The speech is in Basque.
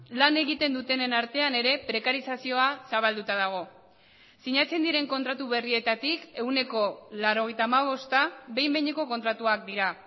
lan egiten dutenen artean ere prekarizazioa zabalduta dago sinatzen diren kontratu berrietatik ehuneko laurogeita hamabosta behin behineko kontratuak dira